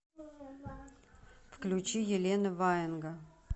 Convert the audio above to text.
включи елена ваенга